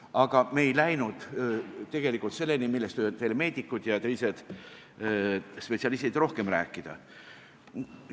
Aga me ei läinud tegelikult selleni, millest võivad teile meedikud ja teised spetsialistid rohkem rääkida.